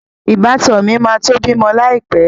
Ìbátan mi máa tó bímọ láì pẹ́